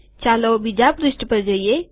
ચાલો બીજા પુષ્ઠ પર જઈએ